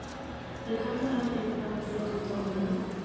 Þeir kalla hann einn af betri dómurunum?